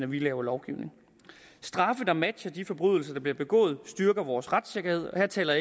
vi laver lovgivning straffe der matcher de forbrydelser der bliver begået styrker vores retssikkerhed og her taler